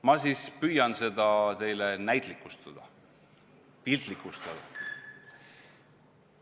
Ma siis püüan seda teile näitlikustada, piltlikustada.